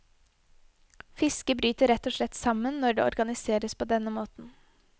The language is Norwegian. Fisket bryter rett og slett sammen når det organiseres på denne måten.